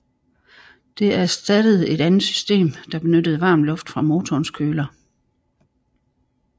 Det erstattede et andet system der benyttede varm luft fra motorens køler